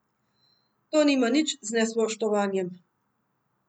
To nima nič z nespoštovanjem.